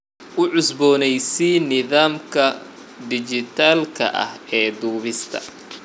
U cusboonaysii nidaamka dhijitaalka ah ee duubista